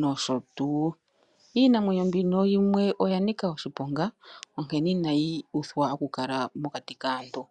nosho tuu. linamweyo mbino yimwe oya nika oshiponga onkene inayi uthwa oku kala mokati kaantu.